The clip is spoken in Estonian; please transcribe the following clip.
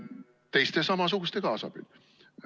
Teiste samasuguste kaasabil.